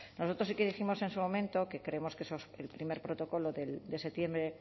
nosotros sí que dijimos en su momento que creíamos que el primer protocolo de septiembre